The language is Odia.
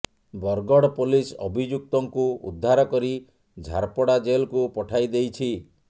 ବରଗଡ ପୋଲିସ ଅଭିଯୁକ୍ତଙ୍କୁ ଉଦ୍ଧାର କରି ଝାରପଡା ଜେଲକୁ ପଠାଇଦେଇଛି